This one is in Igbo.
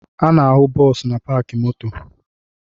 A na-ahụ bọọsụ na paakị moto